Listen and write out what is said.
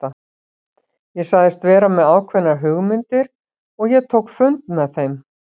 Ég sagðist vera með ákveðnar hugmyndir og ég tók fund með þeim.